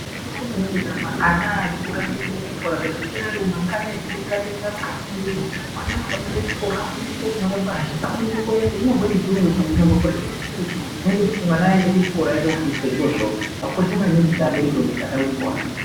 Zvakakosha maningi kuti amwe ana aendeswe kuchikora kwete kuswera achitenderera asingafundiri vana vanofana kuendeswa kuchikora afundiswa kuerenga Kunyangwe chirungu chaicho ukangoreta chirungu zvinoita kuti mwana afundire arekete zvirozvo zvakakosha maningi kuti mwana aende kuchikora.